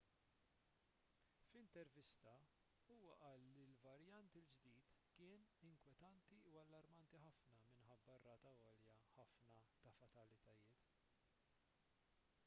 f'intervista huwa qal li l-varjant il-ġdid kien inkwetanti u allarmanti ħafna minħabba r-rata għolja ħafna ta' fatalitajiet